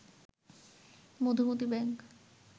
Madhumati bank